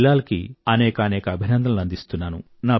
బిలాల్ దార్ కి అనేకానేక అభినందనలు అందిస్తున్నాను